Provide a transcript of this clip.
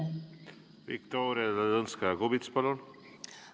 Viktoria Ladõnskaja-Kubits, palun!